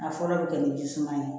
A fɔlɔ bɛ kɛ ni ji suma ye